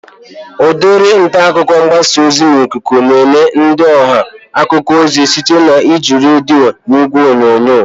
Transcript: Udiri ntaakụkọ mgbasa ozi n'ikuku na-enye ndị ọha akụkọ ozi site na iji redio na ìgwè onyonyo